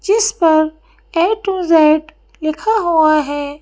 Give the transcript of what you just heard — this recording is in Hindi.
जिस पर ए_टू_ज़ेड लिखा हुआ है।